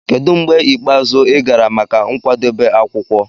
Kedu mgbe ikpeazụ ị gara maka nkwadebe akwukwo?